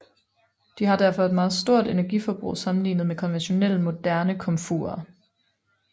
De har derfor et meget stort energiforbrug sammenligne med konventionelle moderne komfurer